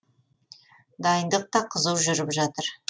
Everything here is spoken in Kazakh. дайындық та қызу жүріп жатыр